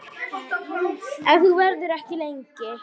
Ef þú verður ekki lengi.